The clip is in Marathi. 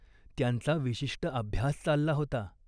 त्यांचा विशिष्ट अभ्यास चालला होता.